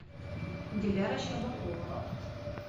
диляра щербакова